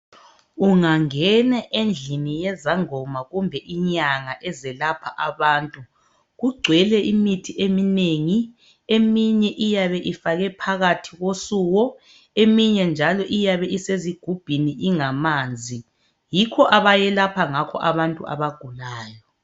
ungangena endlini yezangoma kumbe inyanga eziyelapha abantu kugcwele imithi eminengi eminye iyabe ifakwe phakathi kosuko eminye njalo iyabe isezigumbhini ingamanzi yikho abayelapha ngakho abantu abagulayo